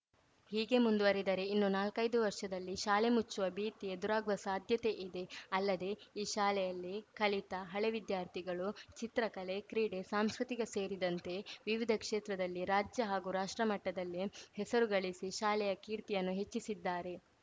ಹೀಗೆ ಮುಂದುವರಿದರೆ ಇನ್ನು ನಾಲ್ಕೈದು ವರ್ಷದಲ್ಲಿ ಶಾಲೆ ಮುಚ್ಚುವ ಭೀತಿ ಎದುರಾಗುವ ಸಾಧ್ಯತೆ ಇದೆ ಅಲ್ಲದೇ ಈ ಶಾಲೆಯಲ್ಲಿ ಕಲಿತ ಹಳೆ ವಿದ್ಯಾರ್ಥಿಗಳು ಚಿತ್ರಕಲೆ ಕ್ರೀಡೆ ಸಾಂಸ್ಕೃತಿಕ ಸೇರಿದಂತೆ ವಿವಿಧ ಕ್ಷೇತ್ರದಲ್ಲಿ ರಾಜ್ಯ ಹಾಗೂ ರಾಷ್ಟ್ರ ಮಟ್ಟದಲ್ಲಿ ಹೆಸರು ಗಳಿಸಿ ಶಾಲೆಯ ಕೀರ್ತಿಯನ್ನು ಹೆಚ್ಚಿಸಿದ್ದಾರೆ